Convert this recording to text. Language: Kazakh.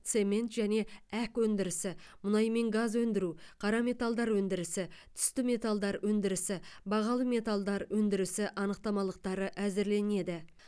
цемент және әк өндірісі мұнай мен газ өндіру қара металдар өндірісі түсті металдар өндірісі бағалы металдар өндірісі анықтамалықтары әзірленеді